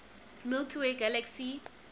milky way galaxy